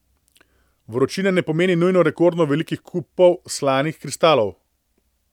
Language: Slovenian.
Vročina ne pomeni nujno rekordno velikih kupov slanih kristalov.